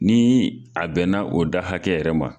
Ni a bɛnna o da hakɛ yɛrɛ ma